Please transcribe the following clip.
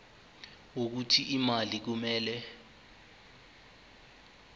wokuthi imali kumele